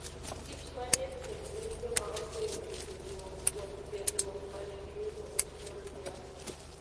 kich manie thim gin joma oseyudo tiegruok kuom tiegruok ma ne giyudo e kor lwasi.